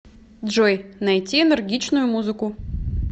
джой найти энергичную музыку